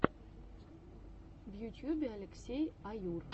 в ютьюбе алексей аюр